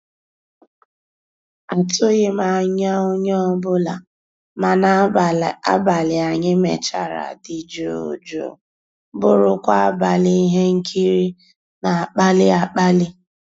àtụ́ghị́m ànyá onye ọ́bụ́la, mana àbàlí ànyị́ mechara dị́ jụ́ụ́ jụ́ụ́ bụ́rụ́kwa àbàlí íhé nkírí ná-àkpàlí àkpàlí.